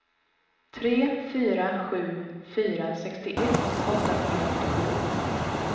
tre fyra sju fyra sextioett åttahundrafyrtiosju